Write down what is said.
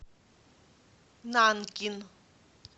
нанкин